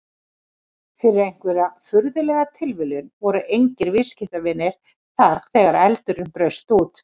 Fyrir einhverja furðulega tilviljun voru engir viðskiptavinir þar þegar eldurinn braust út.